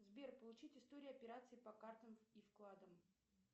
сбер получить историю операций по картам и вкладам